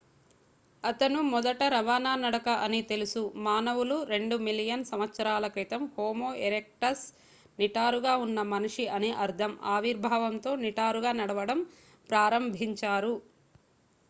అతను మొదట రవాణా నడక అని తెలుసు మానవులు 2 మిలియన్ సంవత్సరాల క్రితం హోమో ఎరెక్టస్ నిటారుగా ఉన్న మనిషి అని అర్ధం ఆవిర్భావంతో నిటారుగా నడవడం ప్రారంభించారు